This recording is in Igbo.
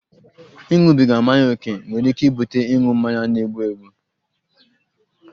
Ịṅụbiga mmanya ókè nwere ike ibute ịṅụ mmanya na-egbu egbu